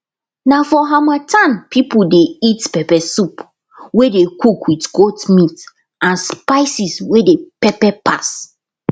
na for harmattan people dey eat pepper soup wey dey cook with goat meat and spices wey dey pepper pass